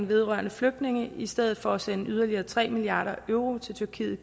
vedrørende flygtninge i stedet for at sende yderligere tre milliard euro til tyrkiet